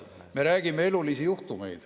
Me räägime elulistest juhtumitest.